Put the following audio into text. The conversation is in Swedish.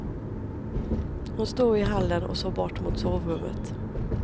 Hon stod i hallen och såg bort mot sovrummet.